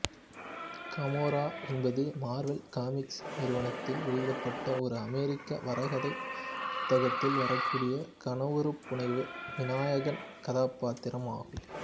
Gamora என்பது Marvel comics நிறுவனத்தால் வெளியிடப்பட்ட ஒரு அமெரிக்க வரைகதை புத்தகத்தில் வரக்கூடிய கனவுருப்புனைவு மீநாயகன் கதாபாத்திரம் ஆகும்